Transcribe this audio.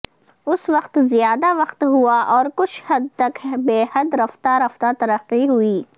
اس وقت زیادہ وقت ہوا اور کچھ حد تک بے حد رفتہ رفتہ ترقی ہوئی